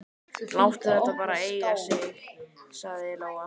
Láttu þetta bara eiga sig, sagði Lóa.